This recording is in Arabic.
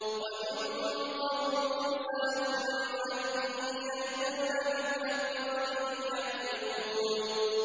وَمِن قَوْمِ مُوسَىٰ أُمَّةٌ يَهْدُونَ بِالْحَقِّ وَبِهِ يَعْدِلُونَ